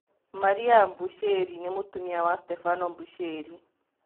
Maria Mbushĩri nĩ mũtumia wa Stebano Mbushĩri.